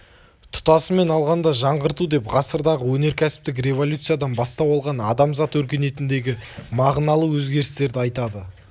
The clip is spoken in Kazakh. тұтасымен алғанда жаңғырту деп ғасырдағы өнеркәсіптік революциядан бастау алған адамзат өркениетіндегі мағыналы өзгерістерді айтады